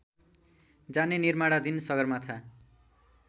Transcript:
जाने निमार्णाधिन सगरमाथा